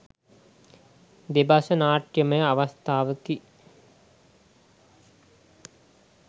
දෙබස නාට්‍යමය අවස්ථාවකි.